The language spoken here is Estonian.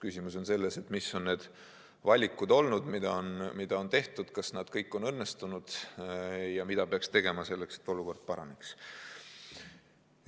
Küsimus on selles, mis on olnud need valikud, mis on tehtud: kas need kõik on õnnestunud ja mida peaks tegema selleks, et olukord paraneks.